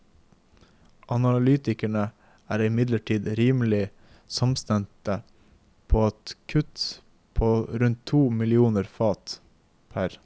Analytikerne er imidlertid rimelig samstemte i at kutt på rundt to millioner fat pr.